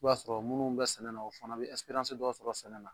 I b'a sɔrɔ munnu bɛ sɛnɛ na o fana be dɔ sɔrɔ sɛnɛ na.